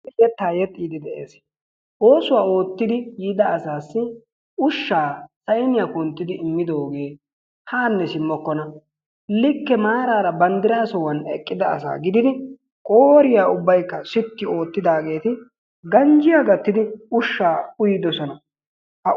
Yettaa yexxiiddi de'eesi. Oosuwa oottidi yiida asaassi ushshaa sayniya kunttidi immidoogee haanne simmokkona. Likke maaraara banddiraa sohuwan eqqida asaa gididi qootiya ubbaykka sitti oottidaageeti ganjjiya gattidi ushshaa uyidosona. Ha ush,,,